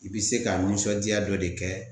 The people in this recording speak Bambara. I be se ka nisɔndiya dɔ de kɛ.